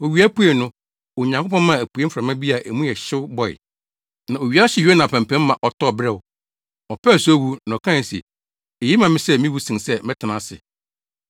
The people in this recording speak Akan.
Owia puei no, Onyankopɔn maa apuei mframa bi a mu yɛ hyew bɔe, na owia hyee Yona apampam ma ɔtɔɔ beraw. Ɔpɛɛ sɛ owu, na ɔkae se, “Eye ma me sɛ miwu sen sɛ metena ase.”